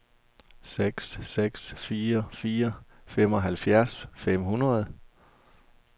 seks seks fire fire femoghalvfjerds fem hundrede